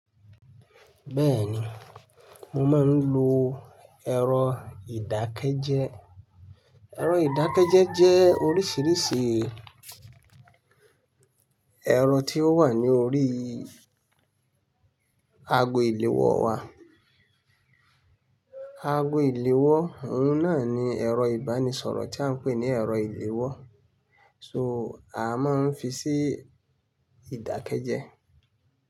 Bẹ́ẹ̀ni, mo máa ń lo ẹ̀rọ ìdákẹ́jẹ́. Ẹ̀rọ ìdákẹ́jẹ́ jẹ́ oríṣìíríṣìí ẹ̀rọ tí ó wà ní orí ago ìléwọ́ wa. Ago ìléwọ́, òun náà ni ẹ̀rọ ìbánisọ̀rọ̀ tí à ń pè ní ẹ̀rọ ìléwọ́. So, a máa ń fi sí ìdákẹ́jẹ́